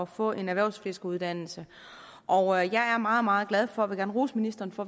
få en erhvervsfiskeruddannelse og jeg er meget meget glad for vil gerne rose ministeren for